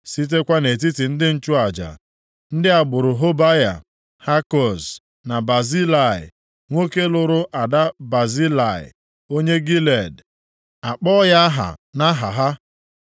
Sitekwa nʼetiti ndị nchụaja: Ndị agbụrụ Hobaya, Hakoz na Bazilai, nwoke lụrụ ada Bazilai onye Gilead, a kpọọ ya aha nʼaha ha.